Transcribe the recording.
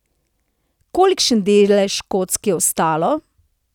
Kolikšen delež kock je ostalo?